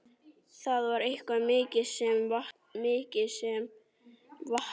Það var eitthvað mikið sem vantaði.